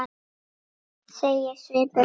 segir svipur hans.